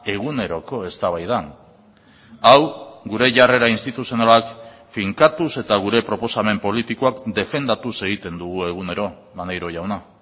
eguneroko eztabaidan hau gure jarrera instituzionalak finkatuz eta gure proposamen politikoak defendatuz egiten dugu egunero maneiro jauna